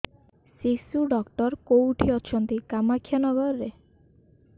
ଶିଶୁ ଡକ୍ଟର କୋଉଠି ଅଛନ୍ତି କାମାକ୍ଷାନଗରରେ